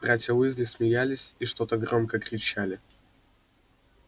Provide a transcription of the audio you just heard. братья уизли смеялись и что-то громко кричали